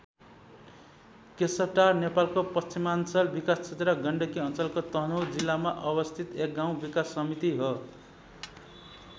केशवटार नेपालको पश्चिमाञ्चल विकास क्षेत्र गण्डकी अञ्चलको तनहुँ जिल्लामा अवस्थित एक गाउँ विकास समिति हो।